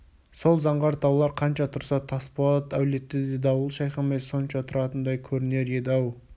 сол заңғар таулар қанша тұрса тасболат әулеті де дауыл шайқамай сонша тұратындай көрінер еді-ау